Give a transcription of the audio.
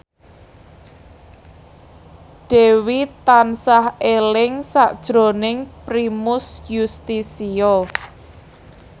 Dewi tansah eling sakjroning Primus Yustisio